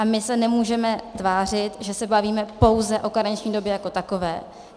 A my se nemůžeme tvářit, že se bavíme pouze o karenční době jako takové.